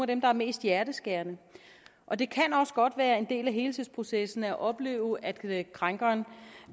dem der er mest hjerteskærende og det kan også godt være en del af helingsprocessen at opleve at krænkeren